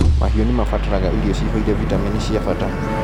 Mahiũ nĩmabataraga irio ciihũire vitamini cia bata.